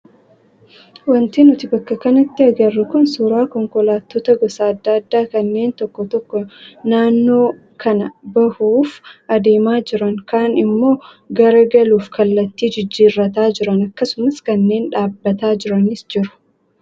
Wanti nuti bakka kanatti agarru kun suuraa konkolaattota gosa adda addaa kanneen tokko tokko naannoo kanaa bahuuf adeemaa jiran kaan immoo garagaluuf kallattii jijjiirrataa jiran akkasumas kanneen dhaabbataa jiranis jiru.